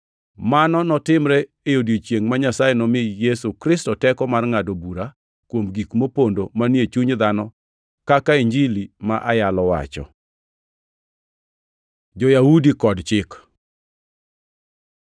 Mano notimre e odiechiengʼ ma Nyasaye nomi Yesu Kristo teko mar ngʼado bura kuom gik mopondo manie chuny dhano kaka Injili ma ayalo wacho. Jo-Yahudi kod Chik